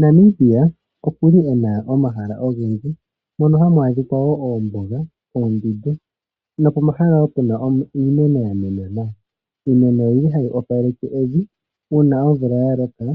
Namibia okuli ena omahala ogendji, mono hamu adhika woo oombuga, oondundu no pomahala woo puna iimeno ya mena nawa. Iimeno oyili hayi opaleke evi, uuna omvula ya loka,